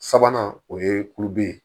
Sabanan o ye kulibere ye